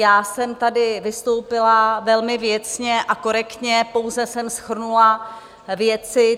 Já jsem tady vystoupila velmi věcně a korektně, pouze jsem shrnula věci.